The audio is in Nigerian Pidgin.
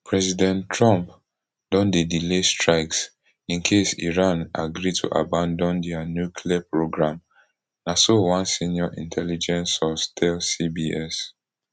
president trump don dey delay strikes in case iran agree to abandon dia nuclear programme na so one senior intelligence source tell cbs